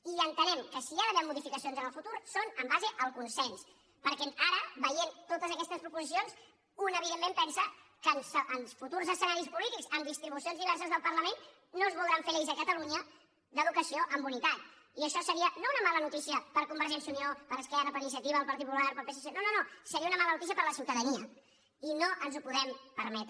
i entenem que si hi ha d’haver modificacions en el futur són en base al consens perquè ara veient totes aquestes proposicions un evidentment pensa que en futurs escenaris polítics amb distribucions diverses del parlament no es voldran fer lleis a catalunya d’educació amb unitat i això seria no una mala notícia per a convergència i unió per a esquerra per a iniciativa el partit popular però al psc no no seria una mala notícia per a la ciutadania i no ens ho podem permetre